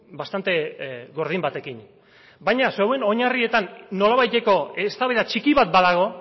bastante gordin batekin baina zeuen oinarrietan nolabaiteko eztabaida txiki bat badago